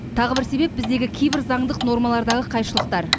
тағы бір себеп біздегі кейбір заңдық нормалардағы қайшылықтар